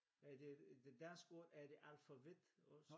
Er det det danske ord er det alfabet også?